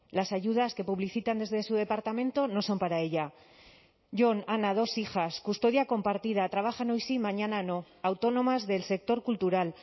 las ayudas que publicitan desde su departamento no son para ella jon ana dos hijas custodia compartida trabajan hoy sí y mañana no autónomas del sector cultural